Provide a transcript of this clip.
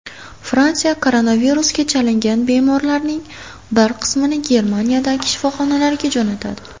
Fransiya koronavirusga chalingan bemorlarining bir qismini Germaniyadagi shifoxonalarga jo‘natadi.